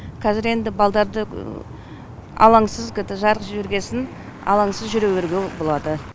қазір енді балдарды алаңсыз жарық жібергесін алаңсыз жүре беруге болады